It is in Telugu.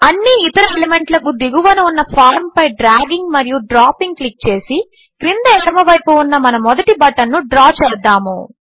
అన్ని ఇతర ఎలిమెంట్లకు దిగువన ఉన్న ఫార్మ్ పై డ్రాగింగ్ మరియు డ్రాపింగ్ క్లిక్ చేసి క్రింద ఎడమవైపు ఉన్న మన మొదటి బటన్ను డ్రా చేద్దాము